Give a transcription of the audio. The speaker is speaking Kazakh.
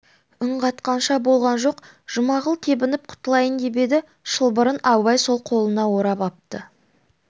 үн қатқанша болған жоқ жұмағұл тебініп құтылайын деп еді шылбырын абай сол қолына орап апты